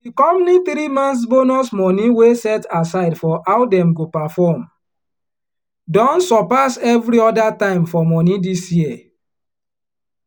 di company three months bonus money wey set aside for how dem go perform don surpass every other time for money dis year